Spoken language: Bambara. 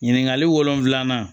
Ɲininkali wolonfila